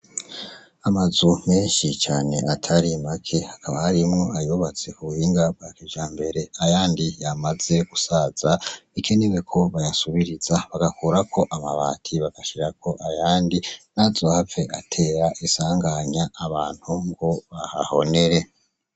Amazu menshi cane atari make hakaba harimwo ayobatse ku bubinga bwa kija mbere ayandi yamaze gusaza ike ne we ko bayasubiriza bagakorako amabati bagashira ko ayandi nazohapfe atera isanganya abantu ngo bahahonere.